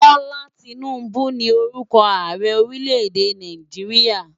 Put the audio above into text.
Bola Tinubu ni órùkò àárè órilè-èdé Náijiriá